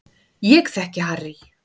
Ég þekki Harry